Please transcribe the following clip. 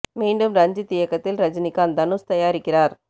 மீண்டும் ரஞ்சித் இயக்கத்தில் ரஜினிகாந்த் தனுஷ் தயாரிக்கிறார்